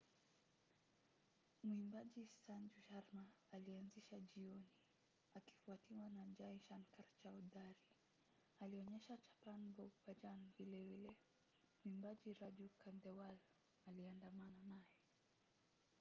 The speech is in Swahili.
mwimbaji sanju sharma alianzisha jioni akifuatiwa na jai shankar chaoudhary. alionyesha chhappan bhog bhajan vilevile. mwimbaji raju khandewal aliandamana naye